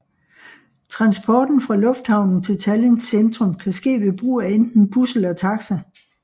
Transport fra lufthavnen til Tallinns centrum kan ske ved brug af enten bus eller taxa